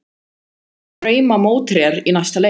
Hverjir eru drauma mótherjar í næsta leik?